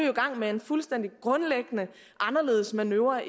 i gang med en fuldstændig grundlæggende anderledes manøvre